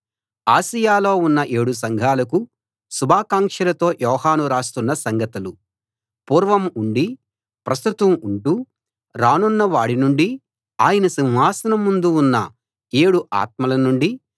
ఆసియలో ఉన్న ఏడు సంఘాలకు శుభాకాంక్షలతో యోహాను రాస్తున్న సంగతులు పూర్వం ఉండి ప్రస్తుతం ఉంటూ రానున్న వాడి నుండీ ఆయన సింహాసనం ముందు ఉన్న ఏడు ఆత్మల నుండీ